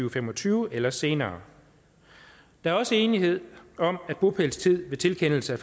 og fem og tyve eller senere der er også enighed om bopælstid ved tilkendelse af